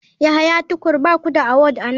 Yahya tukur ba ku da award a nan.